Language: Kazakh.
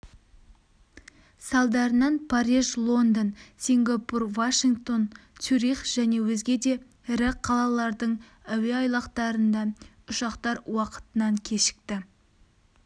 салдарынан париж лондон сингапур вашингтон цюрих және өзге де ірі қалалардың әуе айлақтарында ұшақтар уақытынан кешікті